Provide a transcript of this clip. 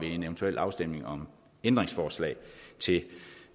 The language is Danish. en eventuel afstemning om ændringsforslag